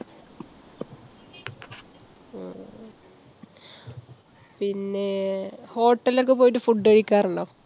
അഹ് പിന്നെ~ hotel ൽ ഒക്കെ പോയിട്ട് food കഴിക്കാറുണ്ടോ?